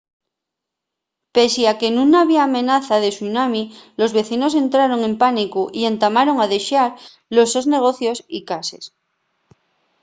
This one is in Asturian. pesie a que nun había amenaza de tsunami los vecinos entraron en pánicu y entamaron a dexar los sos negocios y cases